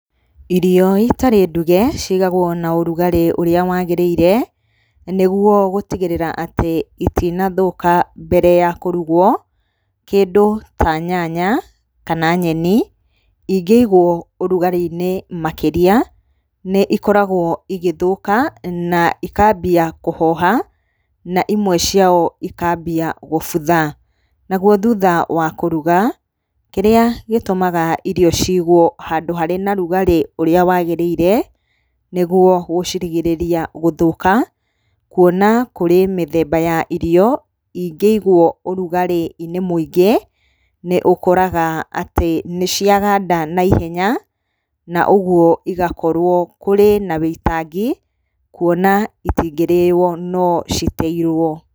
Irio itarĩ nduge cigagwo na ũrugarĩ ũrĩa wagĩrĩire, nĩguo gũtigĩrĩra atĩ itinathũka mbere ya kũrugwo, kĩndũ ta nyanya, kana nyeni, ingĩigwo ũrugarĩ-inĩ makĩria, nĩ ikoragwo igĩthũka na ikambia kũhoha, na imwe ciao ikambia gũbutha, naguo thutha wa kũruga, kĩrĩa gĩtũmaga irio cigwo handũ harĩ na rugarĩ ũrĩa wagĩrĩire, nĩguo gũcirigĩrĩria gũthũka, kuona kũrĩ mĩthemba ya irio ingĩigwo ũrugarĩ-inĩ mũingĩ, nĩ ũkoraga atĩ nĩ ciaganda naihenya, na ũguo igakorwo kũrĩ na wĩitangi, kuona itingĩrĩyo no citeirwo.